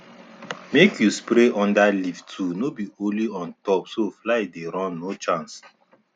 make you spray under leaf too no be only on top so fly dey run no chance